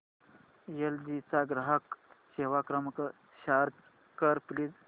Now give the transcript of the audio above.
L G चा ग्राहक सेवा क्रमांक सर्च कर प्लीज